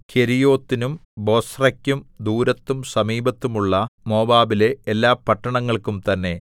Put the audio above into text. കെരീയോത്തിനും ബൊസ്രെക്കും ദൂരത്തും സമീപത്തും ഉള്ള മോവാബിലെ എല്ലാ പട്ടണങ്ങൾക്കും തന്നെ